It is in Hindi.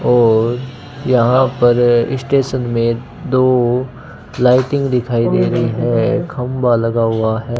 और यहां पर स्टेशन में दो लाइटिंग दिखाई दे रही है खंभा लगा हुआ है।